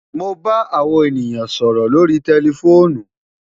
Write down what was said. Mo ba awo ènìyàn sọrọ lórí tẹlifoonù